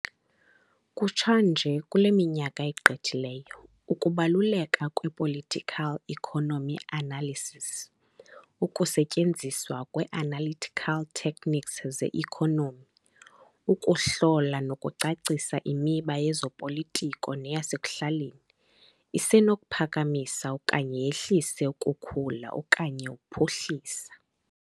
Kutsha nje kule minyaka igqithileyo ukubaluleka kwe-political economy analysis, ukusetyenziswa kwe-analytical techniques ze-economy, ukuhlola nokucacisa imiba yezopolitiko neyasekuhlaleni, isenokuphakamisa okanye yehlise ukukhula okanye uphuhliso